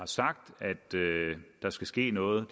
sagt at der skal ske noget